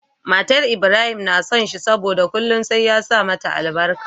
Matar Ibrahim na son shi saboda kullun sai ya sa mata albarka